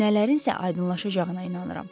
Nələrin isə aydınlaşacağına inanıram.